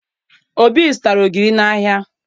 Obi zụtara ogiri n'ahịa